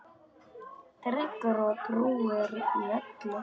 Tryggur og trúr í öllu.